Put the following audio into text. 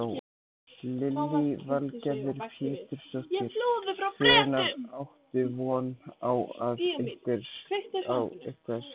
Lillý Valgerður Pétursdóttir: Hvenær áttu von á að eitthvað skýrist?